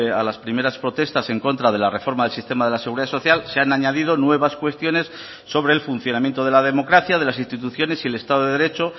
a las primeras protestas en contra de la reforma del sistema de la seguridad social se han añadido nuevas cuestiones sobre el funcionamiento de la democracia de las instituciones y el estado de derecho